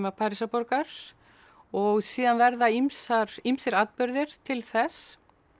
Parísarborgar og síðan verða ýmsir ýmsir atburðir til þess